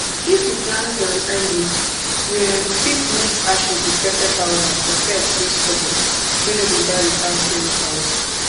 if you plant um early you um fit mix ashes with pepper powder for pests wey stubborn wey no dey die without chemicals